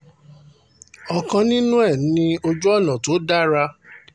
ọ̀kan nínú ẹ̀ ni ojú ọ̀nà tó dára